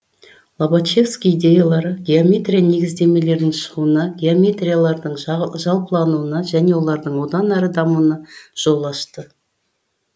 лобачевский идеялары геометрия негіздемелерінің шығуына геометриялардың жалпылануына және олардың одан әрі дамуына жол ашты